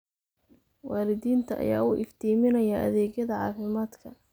Waalidiinta ayaa u iftiiminaya adeegyada caafimaadka.